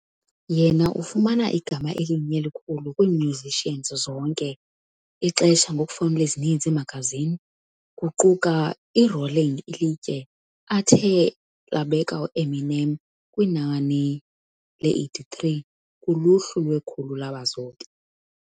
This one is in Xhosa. Yena ufumana igama elinye elikhulu musicians bonke ixesha ngokufowunela ezininzi iimagazini, kuquka Rolling Ilitye, athe wabeka Eminem kwinani 83 kuluhlu lwekhulu labazobi.